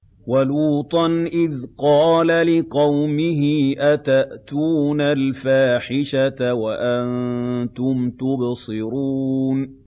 وَلُوطًا إِذْ قَالَ لِقَوْمِهِ أَتَأْتُونَ الْفَاحِشَةَ وَأَنتُمْ تُبْصِرُونَ